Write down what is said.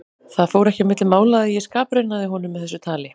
Það fór ekki á milli mála að ég skapraunaði honum með þessu tali.